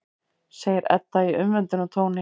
segir Edda í umvöndunartóni.